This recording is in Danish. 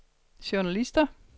journalister